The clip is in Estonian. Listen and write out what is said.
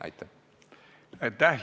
Aitäh!